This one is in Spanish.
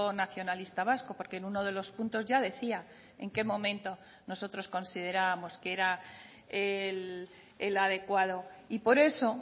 nacionalista vasco porque en uno de los puntos ya decía en qué momento nosotros considerábamos que era el adecuado y por eso